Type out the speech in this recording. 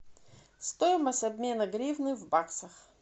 стоимость обмена гривны в баксах